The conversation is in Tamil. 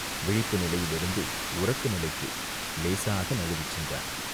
விழிப்பு நிலையிலிருந்து உறக்க நிலைக்கு இலேசாக நழுவிச் சென்றான்.